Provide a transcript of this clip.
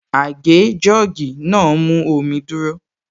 Àgé/Jọ́ọ̀gì náà mú omi dúrọ́